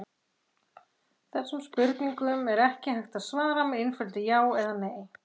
Þessum spurningum er ekki hægt að svara með einföldu já eða nei.